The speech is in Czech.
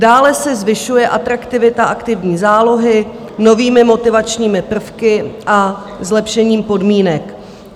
Dále se zvyšuje atraktivita aktivní zálohy novými motivačními prvky a zlepšením podmínek.